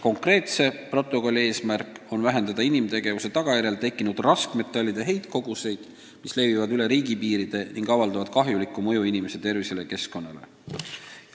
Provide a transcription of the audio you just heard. Konkreetse protokolli eesmärk on vähendada inimtegevuse tagajärjel tekkinud raskmetallide heitkoguseid, mis levivad üle riigipiiride ning avaldavad kahjulikku mõju inimeste tervisele ja keskkonnale.